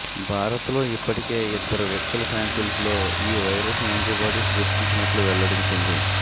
భారత్లో ఇప్పటికే ఇద్దరు వ్యక్తుల శాంపిల్స్లో ఈ వైరస్ యాంటీబాడీస్ గుర్తించినట్లు వెల్లడించింది